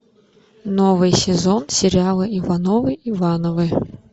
новый сезон сериала ивановы ивановы